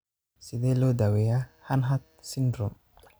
Sidee loo daweeyaa Hanhart syndrome?